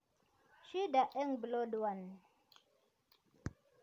Shida eng plod1